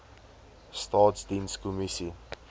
staatsdienskommissie